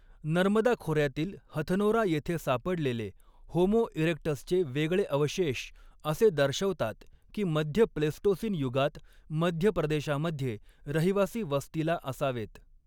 नर्मदा खोऱ्यातील 'हथनोरा' येथे सापडलेले 'होमो इरेक्टस'चे वेगळे अवशेष असे दर्शवतात की मध्य प्लेस्टोसीन युगात मध्य प्रदेशामध्ये रहिवासी वस्तीला असावेत.